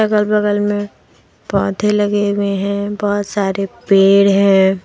अगल बगल में पौधे लगे हुए हैं बहुत सारे पेड़ हैं।